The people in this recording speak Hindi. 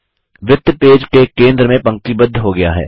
वृत्त पेज के केंद्र में पंक्तिबद्ध हो गया है